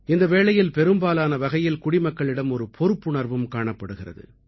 இந்த சமயத்தில் பெரும்பாலான வகையில் குடிமக்களிடம் ஒரு பொறுப்புணர்வும் காணப்படுகிறது